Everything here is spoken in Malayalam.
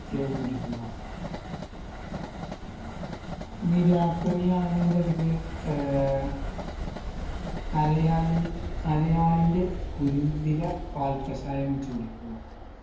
നിത്യവും കുടിക്കുക ഇനി രാപ്പനി ആണെന്നുണ്ടെങ്കില് ഏർ അരയാൽ അരയാലിൻറെ കുരുന്നില പാൽകഷായം വെച്ച് കുടിക്കുക